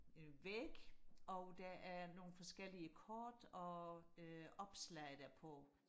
en væg og der er nogle forskellige kort og øh opslag der på